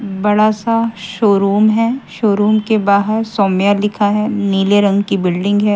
बड़ा सा शोरूम है शोरूम के बाहर सौम्या लिखा है नीले रंग की बिल्डिंग है।